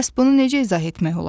Bəs bunu necə izah etmək olar?